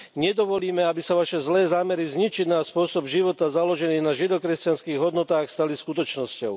Nedovolíme, aby sa vaše zlé zámery zničiť náš spôsob života založený na žido kresťanských hodnotách stali skutočnosťou.